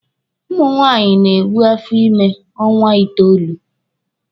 Ụmụ nwaanyị na-ebu afọ ímē ọnwa itoolu.